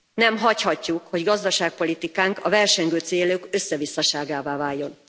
Nem hagyhatjuk, hogy gazdaságpolitikánk a versengő célok összevisszaságává váljon.